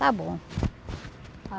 Está bom.